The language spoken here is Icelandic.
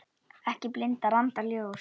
Ekki blindar andans ljós